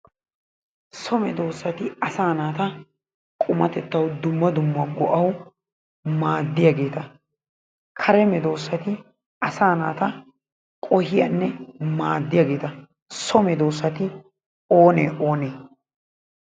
So medoossati asaa naata qumatettawu dumma dumma go'awu maaddiyageeta. Kare medoossati asaa naata qohiyanne maaddiyageeta. So medoossati oonee oonee?